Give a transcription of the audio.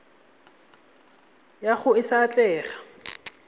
ya gago e sa atlega